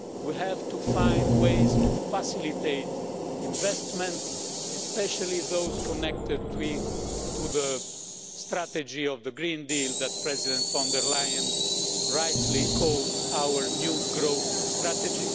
We have to find ways to facilitate investments, especially those connected to the strategy of the Green Deal, which President von der Leyen rightly calls our new growth strategy.